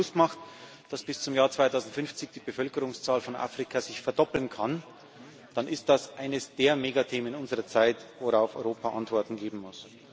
Wenn man sich bewusst macht, dass sich bis zum Jahr 2050 die Bevölkerungszahl Afrikas verdoppeln kann, dann ist das eines der Megathemen unserer Zeit, worauf Europa Antworten geben muss.